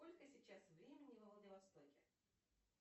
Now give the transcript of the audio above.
сколько сейчас времени во владивостоке